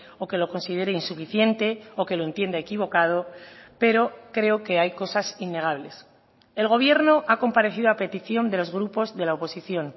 o que lo considere insuficiente o que lo entienda equivocado pero creo que hay cosas innegables el gobierno ha comparecido a petición de los grupos de la oposición